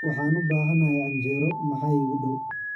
Waxaan u baahanahay canjeero, maxaa iigu dhow?